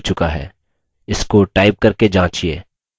इसको टाइप करके जाँचिये